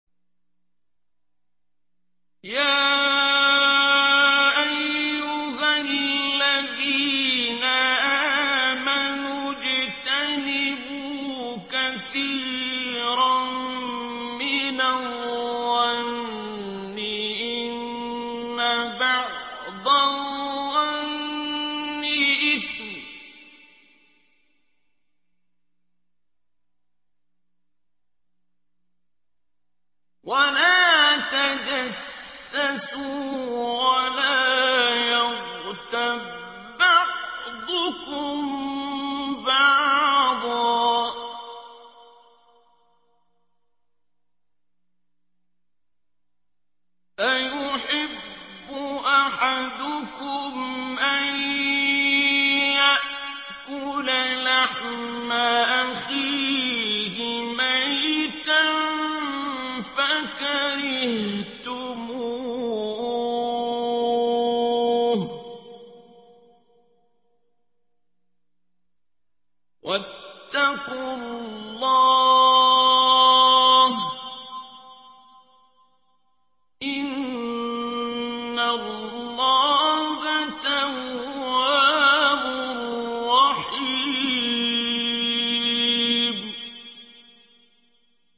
يَا أَيُّهَا الَّذِينَ آمَنُوا اجْتَنِبُوا كَثِيرًا مِّنَ الظَّنِّ إِنَّ بَعْضَ الظَّنِّ إِثْمٌ ۖ وَلَا تَجَسَّسُوا وَلَا يَغْتَب بَّعْضُكُم بَعْضًا ۚ أَيُحِبُّ أَحَدُكُمْ أَن يَأْكُلَ لَحْمَ أَخِيهِ مَيْتًا فَكَرِهْتُمُوهُ ۚ وَاتَّقُوا اللَّهَ ۚ إِنَّ اللَّهَ تَوَّابٌ رَّحِيمٌ